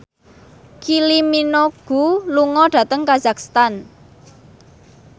Kylie Minogue lunga dhateng kazakhstan